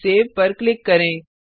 अब सेव पर क्लिक करें